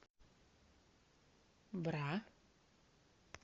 бра